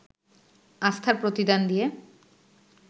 আস্থার প্রতিদান দিয়ে